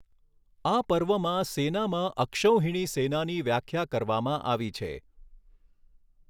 આ પર્વમાં સેનામાં અક્ષૌહિણી સેનાની વ્યાખ્યા કરવામાં આવી છે.